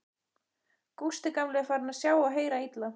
Gústi gamli er farinn að sjá og heyra illa.